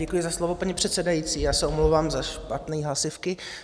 Děkuji za slovo, paní předsedající, já se omlouvám za špatné hlasivky.